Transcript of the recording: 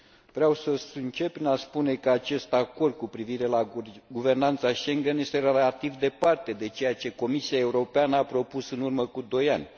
Vreau să încep prin a spune că acest acord cu privire la guvernanța Schengen este relativ departe de ceea ce Comisia Europeană a propus în urmă cu doi ani